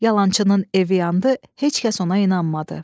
Yalançının evi yandı, heç kəs ona inanmadı.